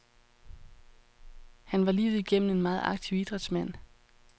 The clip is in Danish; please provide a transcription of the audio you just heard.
Han var livet igennem en meget aktiv idrætsmand.